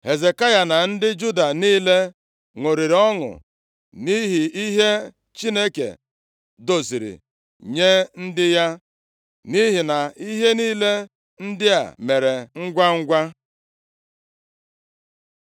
Hezekaya na ndị Juda niile ṅụrịrị ọṅụ nʼihi ihe Chineke doziri nye ndị ya, nʼihi na ihe niile ndị a mere ngwangwa.